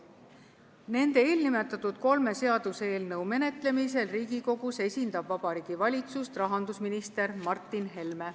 Nende eelnimetatud kolme seaduseelnõu menetlemisel Riigikogus esindab Vabariigi Valitsust rahandusminister Martin Helme.